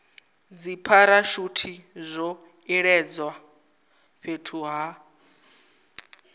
dzipharashuthi zwo iledzwa fhethu ha